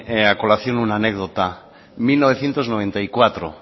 a colación una anécdota mil novecientos noventa y cuatro